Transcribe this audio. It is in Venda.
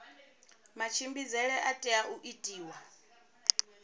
matshimbidzele a tea u itiwa